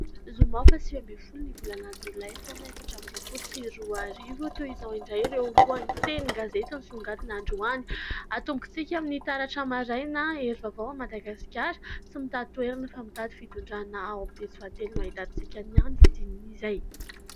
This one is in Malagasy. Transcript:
Zoma faha sivy ambiny folo ny volana jolay, taona efatra ambiny roampolo sy roa arivo. Toy izao indray ireo lohaten'ny gazety nisongadina androany. Atombontsika amin'ny Taitra Maraina. Hery vaovaon' ny Madagasikara : "tsy mitady toerana fa mitady fitondrana", ao amin' ny pejy fahatelo no hahitantsika ny andinindinin'izay.